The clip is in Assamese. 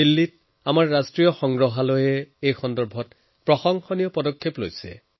দিল্লীত আমাৰ ৰাষ্ট্ৰীয় সংগ্ৰহালয়ত এই ক্ষেত্ৰত কেতবোৰ প্ৰশংসনীয় প্ৰচেষ্টা লৈছে